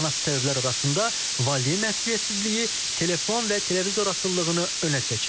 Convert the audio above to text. Anası səbəblər arasında valideyn məsuliyyətsizliyi, telefon və televizor asılılığını önə çəkir.